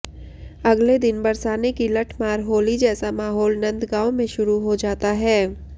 अगले दिन बरसाने की लठमार होली जैसा माहौल नंदगांव में शुरू हो जाता है